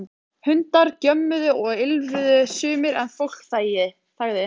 Hundar gjömmuðu og ýlfruðu sumir en fólk þagði.